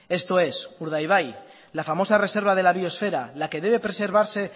esto es urdaibai la famosa reserva de la biosfera la que debe preservarse